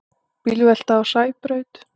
Bílvelta á Sæbraut